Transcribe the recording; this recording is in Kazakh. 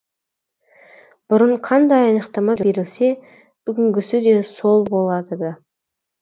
бұрын қандай анықтама берілсе бүгінгісі де сол болады да